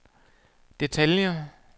detaljer